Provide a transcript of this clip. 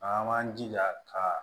An b'an jija ka